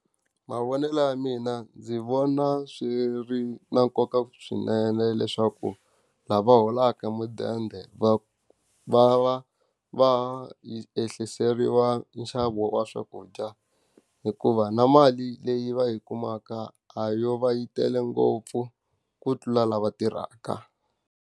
Mavonelo ya mina ndzi vona swi ri na nkoka swinene leswaku, lava holaka mudende va va va ehliseriwa nxavo wa swakudya hikuva na mali leyi va yi kumaka a yo va yi tele ngopfu, ku tlula lava tirhaka.